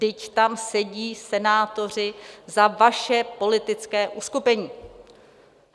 Vždyť tam sedí senátoři za vaše politické uskupení.